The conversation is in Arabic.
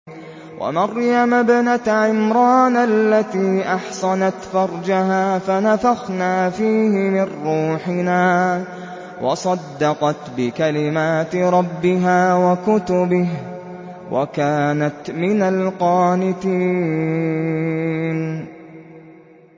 وَمَرْيَمَ ابْنَتَ عِمْرَانَ الَّتِي أَحْصَنَتْ فَرْجَهَا فَنَفَخْنَا فِيهِ مِن رُّوحِنَا وَصَدَّقَتْ بِكَلِمَاتِ رَبِّهَا وَكُتُبِهِ وَكَانَتْ مِنَ الْقَانِتِينَ